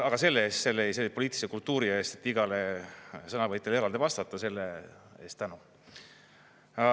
Aga selle eest, selle poliitilise kultuuri eest, et igale sõnavõtjale eraldi vastata, selle eest tänu.